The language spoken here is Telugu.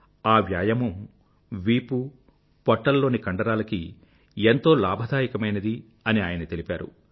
ఆ వ్యాయామం వీపు పొట్టలలోని కండరాలకి ఎంతో లాభదాయకమైనది అని ఆయన తెలిపారు